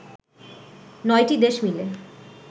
৯টি দেশ মিলে